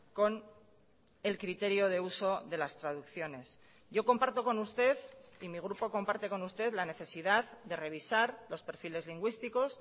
con el criterio de uso de las traducciones yo comparto con usted y mi grupo comparte con usted la necesidad de revisar los perfiles lingüísticos